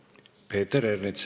Peeter Ernits.